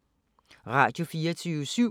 Radio24syv